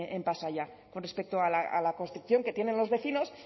en pasaia con respecto a la construcción que tienen los vecinos